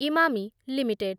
Emami limited